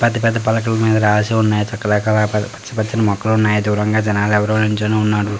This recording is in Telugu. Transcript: పెద్ద పెద్ద పలకల మీద రాసి ఉన్నాయి పచ్చ పచ్చని మొక్కలు ఉన్నాయి దూరంగా జెనాలు ఎవరో నిల్చోని ఉన్నారు.